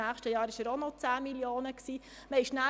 Im nächsten Jahr betrug er auch noch 10 Mio. Franken.